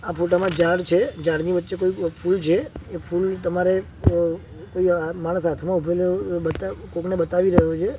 આ ફોટા મા ઝાડ છે ઝાડની વચ્ચે ફૂલ છે એ ફૂલ તમારે અ અહિયા માણસ હાથમાં ઊભેલો બતા કોકને બતાવી રહ્યો છે.